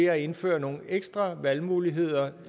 at indføre nogle ekstra valgmuligheder